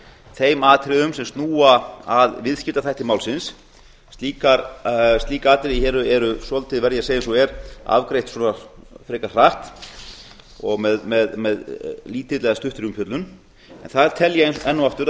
þeim atriðum sem snúa að viðskiptaþætti málsins slík atriði hér eru svolítið verð ég að segja eins og er afgreidd svona frekar hratt og með lítilli eða stuttri umfjöllun en það tel ég enn og aftur